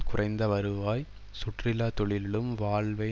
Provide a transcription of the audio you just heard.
குறைந்த வருவாய் சுற்றுலா தொழிலிலும் வாழ்வை